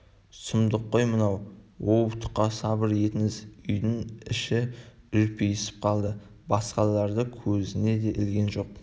сұмдық қой мынау оу тұқа сабыр етіңіз үйдің іші үрпиісіп қалды басқаларды көзіне де ілген жоқ